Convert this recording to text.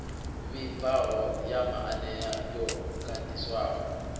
vhibvaho ya maanea yo ganḓiswaho